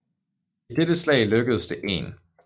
I dette slag lykkedes det 1